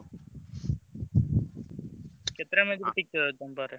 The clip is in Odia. କେତେଟା